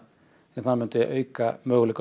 það myndi auka möguleika